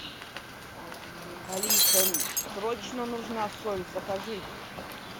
алиса срочно нужна соль закажи